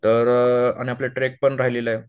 तर आणि आपला ट्रेक पण राहिलेला आहे